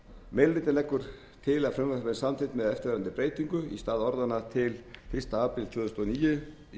hlutinn leggur til að frumvarpið verði samþykkt með eftirfarandi breytingu í stað orðanna til fyrsta apríl tvö þúsund og níu í